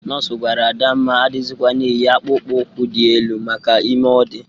Nọs gwara Adamma adịzịkwana eyi akpụkpọ ụkwụ dị elu maka ime ọ dị.